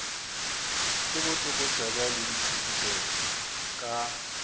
le botlokotsebe le diphuputso ka